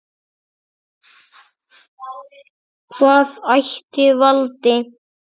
Hvað ætli valdi?